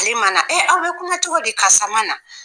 aw bɛ kuma cogo di ? karisa ma na!